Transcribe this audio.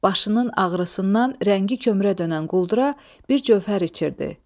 Başının ağrısından rəngi kömrə dönən quldura bir cövhər içirdi.